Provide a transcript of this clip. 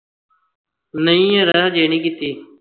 ਨਹੀਂ ਯਾਰ ਹਜੇ ਨੀ ਕੀਤੀ